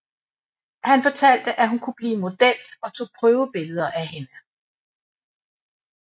Han fortalte at hun kunne blive model og tog prøvebilleder af hende